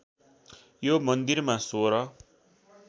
यो मन्दिरमा सोह्र